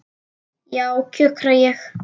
Já, kjökra ég.